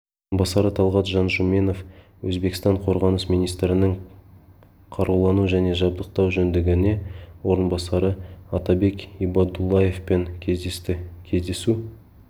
орынбасары талғат жанжуменов өзбекстан қорғаныс министрінің қарулану және жабдықтау жөніндегі орынбасары атабек ибадуллаевпен кездесті кездесу